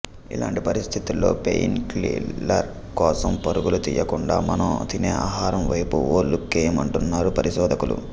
ఇలాంటి పరిస్థితుల్లో pain killers కోసం పరుగులు తీయకుండా మనం తినే ఆహారం వైపు ఓ లుక్కేయమంటున్నారు పరిశోధకులు